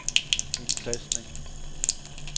indtastning